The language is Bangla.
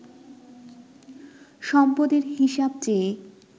সম্পদের হিসাব চেয়ে